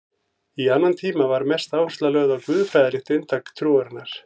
Í annan tíma var mest áhersla lögð á guðfræðilegt inntak trúarinnar.